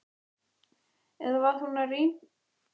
Eða var hún að rýna í bólurnar?